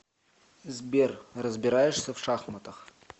сбер разбираешься в шахматах